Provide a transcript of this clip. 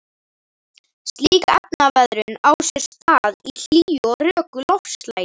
Slík efnaveðrun á sér stað í hlýju og röku loftslagi.